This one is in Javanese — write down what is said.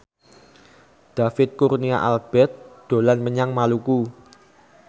David Kurnia Albert dolan menyang Maluku